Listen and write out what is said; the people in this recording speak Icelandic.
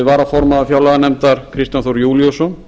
varaformaður fjárlaganefndar kristján þór júlíusson